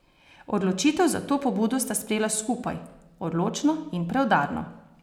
Odločitev za to pobudo sta sprejela skupaj, odločno in preudarno.